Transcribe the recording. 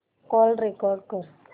call record कर